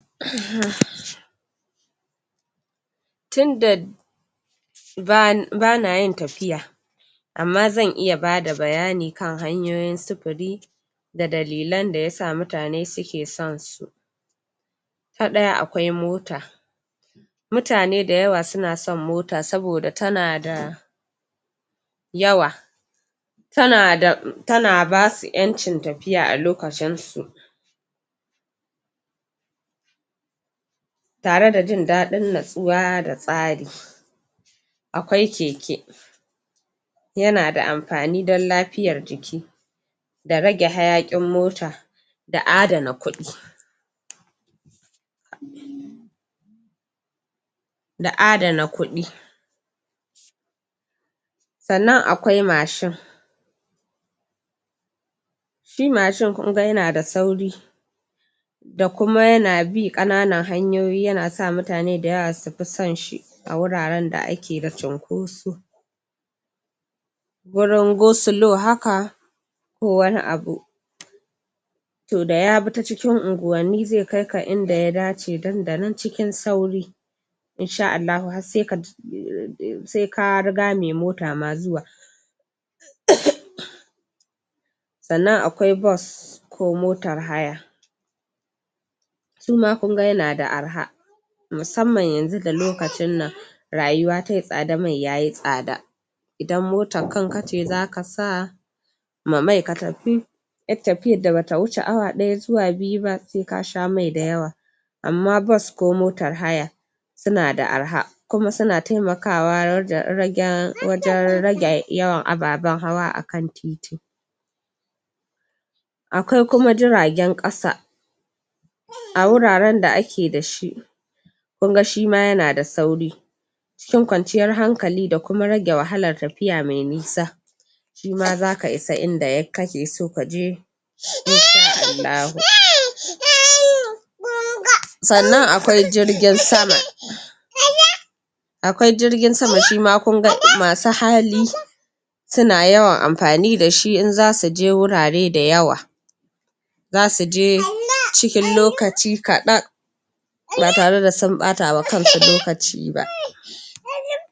tunda bana yin tafiya amma zan iya bada bayani kan hanyoyin sufuri da dalilan da ya sa mutane suke son su ta ɗaya akwai mota mutane da yawa suna son mota saboda tana da yawa tana da tana basu ƴancin tafiya a lokacin su tare da jin daɗin natsuwa da tsari akwai keke yana da amfani dan lafiyar jiki da rage hayaƙin mota da adana kuɗi da adana kuɗi sannan akwai mashin shi mashin kunga yana da sauri da kuma yana bi ƙananan hanyoyi yana sa mutane da yawa su fi son shi a wuraren da ake da cinkoso gurin go slow haka ko wani abu to da ya bi ta cikin unguwanni ze kaika inda ya dace dandanan cikin sauri in sha Allahu har se ka riga me mota ma zuwa sannan akwai bus ko motar haya suma kunga yana da arha musamman yanzu da lokacinnan rayuwa tayi tsada mai yayi tsada idan motan kanka ce zaka sa ma mai ka tafi ƴar tafiyar da bata wuce awa ɗaya zuwa biyu ba se ka sha mai da yawa amma bus ko motar haya suna da arha kuma suna temakawa wajen rage yawan ababen hawa akan titi akwai kuma jiragen ƙasa a wuraren da ake da shi kunga shima yana da sauri cikin kwanciyar hankali da kuma rage wahalar tafiya me nisa shima zaka isa inda kake so kaje in sha Allahu sannan akwai jirgin sama akwai jirgin sama shima kunga masu hali suna yawan amfani da shi in zasu je wurare da yawa zasu je cikin lokaci kaɗan ba tare da sun ɓata wa kan su lokaci ba